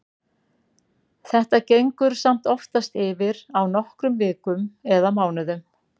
Þetta gengur samt oftast yfir á nokkrum vikum eða mánuðum.